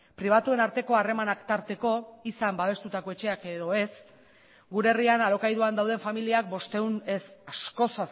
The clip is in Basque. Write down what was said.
pribatuen arteko harremanak tarteko izan babestutako etxeak edo ez gure herrian alokairuan dauden familiak bostehun ez askoz